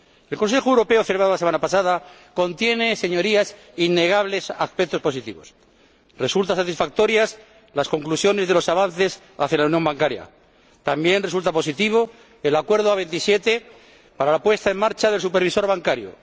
El Consejo Europeo celebrado la semana pasada contiene, Señorías, innegables aspectos positivos resultan satisfactorias las conclusiones de los avances hacia la unión bancaria también resulta positivo el Acuerdo entre los 27 para la puesta en marcha del Supervisor Bancario